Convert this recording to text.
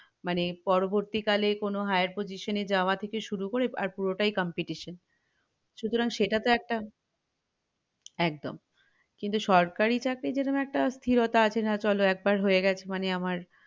মানে পরবর্তীকালে কোনো higher position এ যাওয়া থেকে শুরু করে আর পুরোটাই competition সুতরাং সেটা তো একটা একদম কিন্তু সরকারি চাকরি যেরোকোম একটা স্থিরতা আছে যে না চলো একবার হয়ে গেছে মানে আমার